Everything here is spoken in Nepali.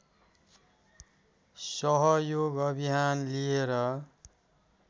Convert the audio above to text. सहयोग अभियान लिएर